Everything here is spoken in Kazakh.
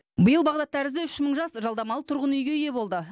биыл бағдат тәрізді үш мың жас жалдамалы тұрғын үйге ие болды